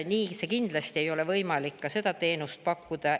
Nii see kindlasti ei ole, ei ole võimalik seda teenust pakkuda.